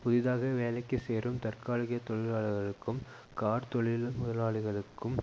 புதிதாக வேலைக்கு சேரும் தற்காலிக தொழிலாளர்களுக்கும் கார்த் தொழில் முதலாளிகளுக்கும்